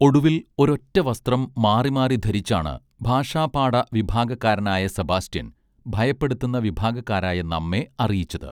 ഒടുവിൽ ഒരൊറ്റ വസ്ത്രം മാറിമാറി ധരിച്ചാണ് ഭാഷാപാഠ വിഭാഗക്കാരനായ സെബാസ്റ്റ്യൻ ഭയപ്പെടുത്തുന്ന വിഭാഗക്കാരായ നമ്മെ അറിയിച്ചത്